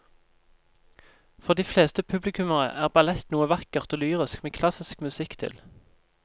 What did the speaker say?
For de fleste publikummere er ballett noe vakkert og lyrisk med klassisk musikk til.